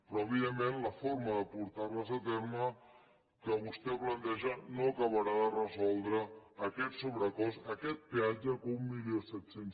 però evidentment la forma de portar les a terme que vostè planteja no acabarà de resoldre aquest sobrecost aquest peatge que mil set cents